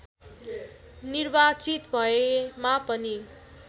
निर्वाचित भएमा पनि